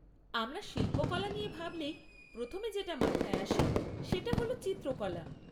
আমরা শিল্পকলা নিয়ে ভাবলেই প্রথমে যেটা মাথায় আসে সেটা হল চিত্রকলা।